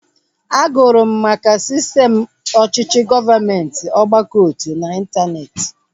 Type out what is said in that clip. A gụrụ m maka sistem ọchịchị gọọmenti ọgbakọotu na intaneeti